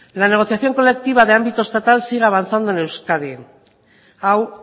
la negociación colectiva de ámbito estatal sigue avanzando en euskadi hau